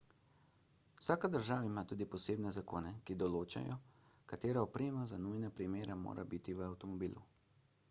vsaka država ima tudi posebne zakone ki določajo katera oprema za nujne primere mora biti v avtomobilu